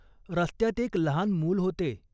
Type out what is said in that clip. "रस्त्यात एक लहान मूल होते.